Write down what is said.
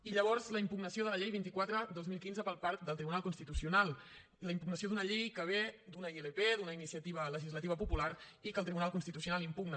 i llavors la impugnació de la llei vint quatre dos mil quinze per part del tribunal constitucional la impugnació d’una llei que ve d’una ilp d’una iniciativa legislativa popular i que el tribunal constitucional impugna